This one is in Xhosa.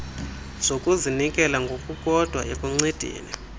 zokuzinikela ngokukodwa ekuncedeni